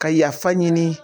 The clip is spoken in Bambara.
Ka yafa ɲini